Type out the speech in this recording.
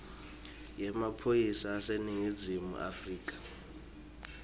yemaphoyisa aseningizimu afrika